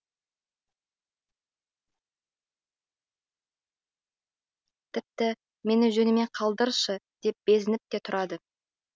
тіпті мені жөніме қалдыршы деп безініп те тұрады